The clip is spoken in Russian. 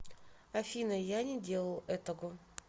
афина я не делал этого